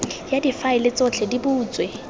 ya difaele tsotlhe di butswe